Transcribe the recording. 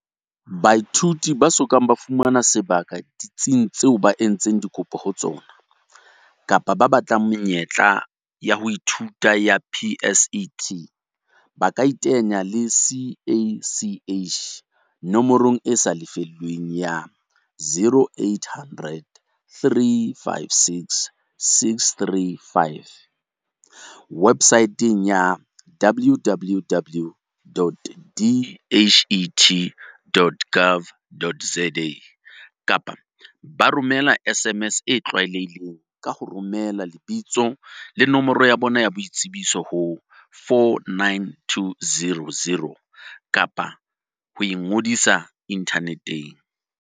Baithuti ba so kang ba fumana sebaka ditsing tseo ba entseng dikopo ho tsona, kapa ba batlang menyetla ya ho ithuta ya PSET, ba kaiteanya le CACH nomorong e sa lefellweng ya, 0800 356 635, webosaeteng ya, www.dhet.gov.za, kapa ba romela SMS e tlwaelehileng, ka ho romela lebitsole ID ho 49200, kapa ba ka ingodisa inthaneteng.